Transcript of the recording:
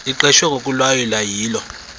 liqeshwe ngokulawula yilo